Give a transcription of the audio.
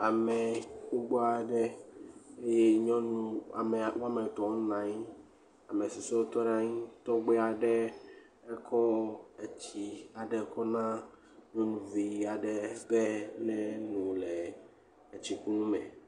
Ame gbogbo aɖe eye nyɔnu amea woame etɔ̃ wonɔ anyi ame susuewo tɔ ɖe anyi tɔgbe aɖe ekɔ etsi aɖe kɔ na nyɔnuvi aɖe be neno le etsikunu me.